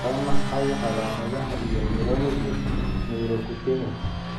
Waa maxay calaamadaha iyo calaamadaha melanosis Neurocutaneous?